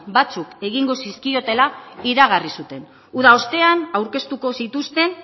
batzuk egingo zizkiotela iragarri zuten uda ostean aurkeztuko zituzten